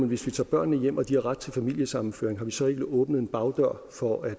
hvis vi tager børnene hjem og de har ret til familiesammenføring så ikke har åbnet en bagdør for at